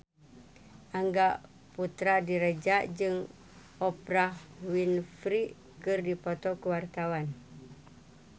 Angga Puradiredja jeung Oprah Winfrey keur dipoto ku wartawan